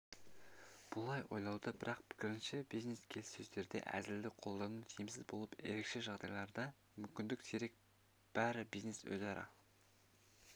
бұлай ойлайды бірақ пікірінше бизнес-келіссөздерде әзілді қолдану тиімсіз болып ерекше жағдайларда мүмкін сирек бәрі бизнес-өзара